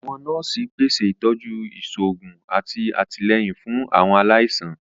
Àwọn nọọsi pese itọju iṣoogun ati atilẹyin fun Àwọn alaisan.